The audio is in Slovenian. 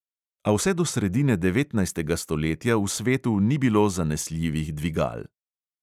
A vse do sredine devetnajstega stoletja v svetu ni bilo zanesljivih dvigal.